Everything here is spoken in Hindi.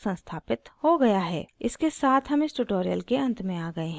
इसके साथ हम इस tutorial के अंत में आ गए हैं